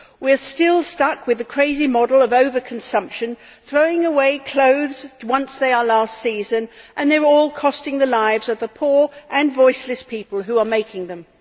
We are still stuck with the crazy model of over consumption, throwing away clothes once they are ʽlast seasonʼ, and they are all costing the lives of the poor and voiceless people who are making them.